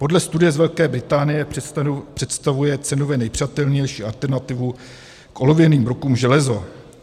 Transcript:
Podle studie z Velké Británie představuje cenově nejpřijatelnější alternativu k olověným brokům železo.